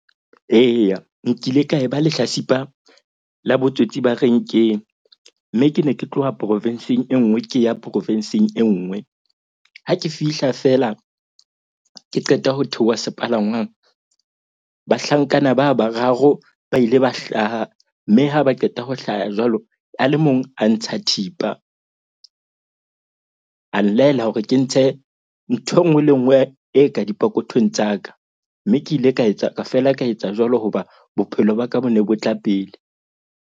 Eya, nkile ka e ba lehlasipa la botsotsi ba renkeng. Mme ke ne ke tloha provinsing, e nngwe ke ya provinsing e nngwe. Ha ke fihla fela ke qeta ho theoha sepalangwang. Bahlankana ba bararo ba ile ba hlaha mme ha ba qeta ho hlaha jwalo. A le mong a ntsha thipa a nlaela hore ke ntshe nthwe enngwe le enngwe e ka dipokothong tsa ka. Mme ke ile ka etsa feela ka etsa jwalo. Hoba bophelo ba ka bo ne bo tla pele.